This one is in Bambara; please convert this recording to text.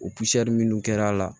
O minnu kɛra a la